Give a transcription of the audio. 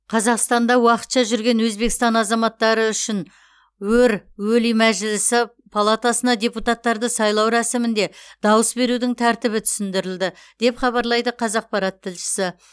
қазақстанда уақытша жүрген өзбекстан азаматтары үшін өр өлий мәжілісі палатасына депутаттарды сайлау рәсімінде дауыс берудің тәртібі түсіндірілді деп хабарлайды қазақпарат тілшісі